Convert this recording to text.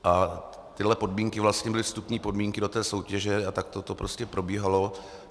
A tyhle podmínky vlastně byly vstupní podmínky do té soutěže a takto to prostě probíhalo.